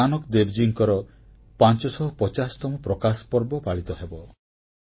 2019ରେ ଗୁରୁନାନକ ଦେବଜୀଙ୍କର 550ତମ ପ୍ରକାଶ ପର୍ବ ପାଳିତ ହେବ